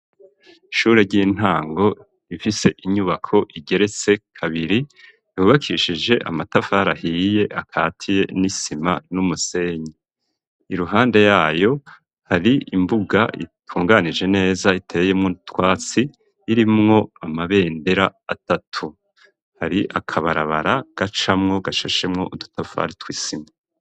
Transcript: ishure ry'intango rifise inyubako igeretse kabiri, yubakishije amatafari ahiye atatiye n'isima, n'umusenyi. iruhande yayo, hari imbuga itunganije neza iteyemwo nu twatsi irimwo amabendera atatu. hari akabarabara gacamwo gashashemwo udutafari tw'isima.